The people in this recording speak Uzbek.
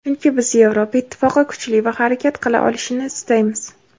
chunki biz Yevropa Ittifoqi kuchli va harakat qila olishini istaymiz.